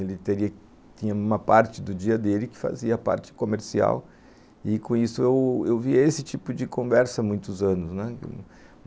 Ele tinha uma parte do dia dele que fazia parte comercial, e com isso eu vi eu via esse tipo de conversa há muitos anos, né